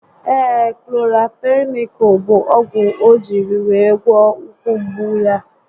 Ee, Kloranfenikụụl bụ ogwu o jírí wee gwọ ụkwụ mgbu ahụ